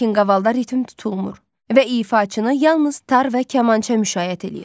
Lakin qavalda ritm tutulmur və ifaçını yalnız tar və kamança müşayiət eləyir.